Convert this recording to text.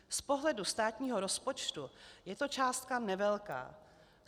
Z pohledu státního rozpočtu je to částka nevelká.